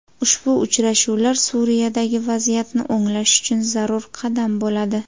Ushbu uchrashuvlar Suriyadagi vaziyatni o‘nglash uchun zarur qadam bo‘ladi.